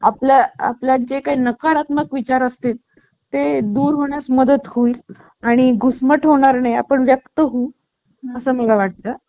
आपल्या आपल्या जे काही नकारात्मक विचार असतील ते दूर होण्यास मदत होईल आणि घुसमट होणार नाही आपण व्यक्त होऊ असं मला वाटतं